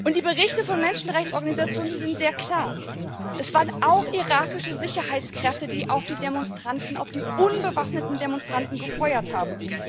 Die Berichte von Menschenrechtsorganisationen sind sehr klar Es waren auch irakische Sicherheitskräfte, die auf die unbewaffneten Demonstranten gefeuert haben.